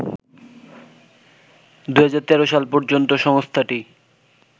২০১৩ সাল পর্যন্ত সংস্থাটি